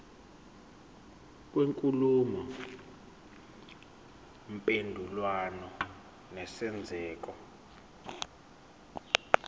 kwenkulumo mpendulwano nesenzeko